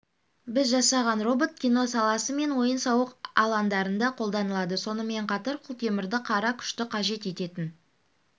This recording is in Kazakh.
біз жасаған робот кино саласы мен ойын-сауық алаңдарында қолданылады сонымен қатар құлтемірді қара күшті қажет ететін